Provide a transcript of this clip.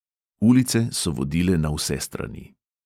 Ulice so vodile na vse strani.